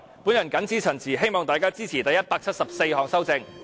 我謹此陳辭，希望大家支持第174項修正案。